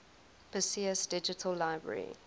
perseus digital library